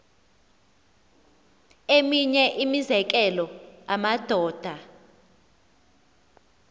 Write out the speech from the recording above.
eminye imizekelo amadoda